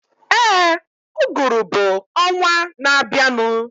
Éè, uguru bụ ọnwaa na abianu